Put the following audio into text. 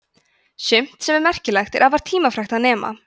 sumt sem er merkilegt er afar tímafrekt að nema